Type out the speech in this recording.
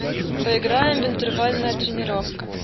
поиграем в интервальная тренировка